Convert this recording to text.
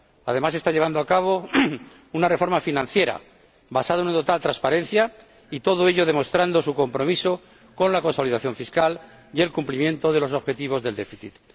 Además, está llevando a cabo una reforma financiera, basada en una total transparencia, y todo ello demostrando su compromiso con la consolidación fiscal y el cumplimiento de los objetivos del déficit.